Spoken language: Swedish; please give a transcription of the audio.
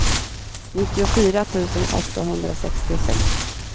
nittiofyra tusen åttahundrasextiosex